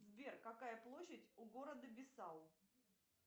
сбер какая площадь у города бисау